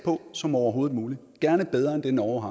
på som overhovedet muligt gerne bedre end det norge